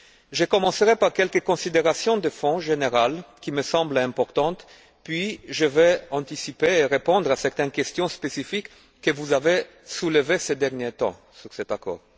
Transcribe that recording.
Je commencerai par quelques considérations de fond générales qui me semblent importantes, puis je vais anticiper et répondre à certaines questions spécifiques que vous avez soulevées ces derniers temps sur cet accord.